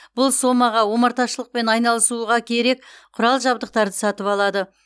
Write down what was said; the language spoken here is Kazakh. бұл сомаға омарташылықпен айналысуға керек құрал жабыдқтарды сатып алады